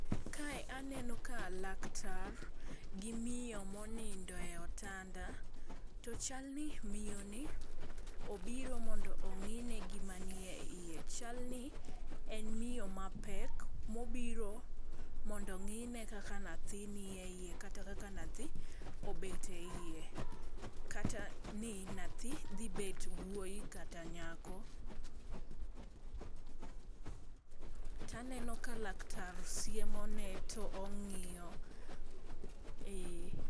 Kae aneno ka laktar gi miyo monindo e otanda to chal ni en miyo mapek mobiro mondo ongine kaka nyathi nie iye kata kaka nyathi obet e iye, kata ni nyathi dhi bet wuoy kata nyako. taneno ka laktar siemo ne to ongiyo, eeh.